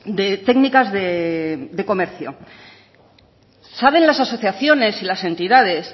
de técnicas de comercio saben las asociaciones y las entidades